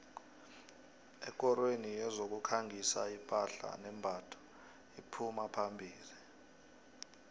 ekorweni yezokukhangisa iphahla nembatho iphuma phambili